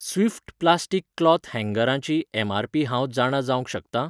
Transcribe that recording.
Swift plastic cloth हँगरां ची MRP हांव जाणा जावंक शकता ?